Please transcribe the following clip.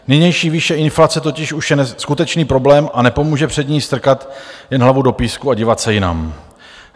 Nynější výše inflace totiž už je skutečný problém a nepomůže před ní strkat jen hlavu do písku a dívat se jinam.